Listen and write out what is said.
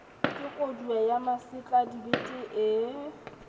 ke kodua ya masetladibete ee